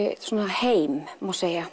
heim má segja